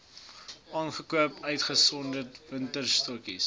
aangekoop uitgesonderd wingerdstokkies